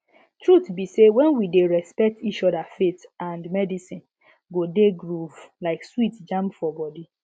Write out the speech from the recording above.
truth be say when we dey respect each other faith and medicine go dey groove like sweet jam for body